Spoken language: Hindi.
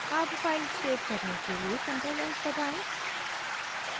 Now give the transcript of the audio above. अब फाइल सेव करने के लिए ctrl+s दबाएं